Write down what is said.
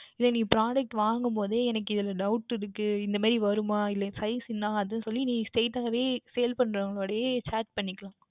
இதே நீ Product வாங்கும்பொழுது எனக்கு இதில் Doubt இருக்கின்றது இந்த மாதிரி வருமா இல்லை Size என்ன அது சொல்லி Straight வே Sale பன்றவர்கள் இடமே Chat பண்ணிக்கொள்ளலாம்